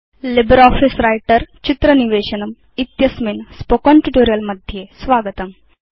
LibreOffice Writer चित्र निवेशनम् इत्यस्मिन् मौखिकपाठे स्वागतम्